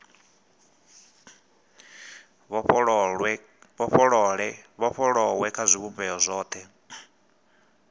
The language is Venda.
vhofholowe kha zwivhumbeo zwothe zwa